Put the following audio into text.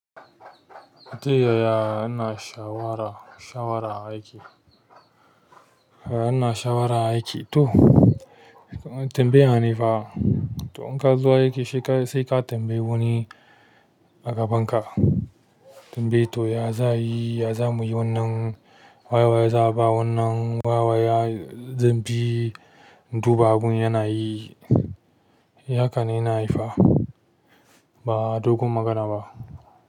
Ta yaya ana shawara, shawara aiki? Ana shawara aiki to, tambaya ne fa to in kazo aiki sai ka tambayi wani a gaban ka. Abindai to ya za'a yi ya zamuyi wannan waye waye za'aba wannan waye waye zanbi in duba abun yanayi. Haka ne nahai fa, ba dogon magana ba.